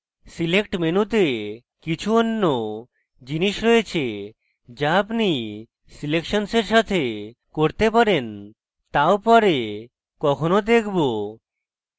select মেনুতে কিছু অন্য জিনিস রয়েছে যা আপনি সিলেকশনসের সাথে করতে পারেন এবং তাও পরে কখনো দেখব